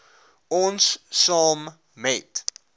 ons saam met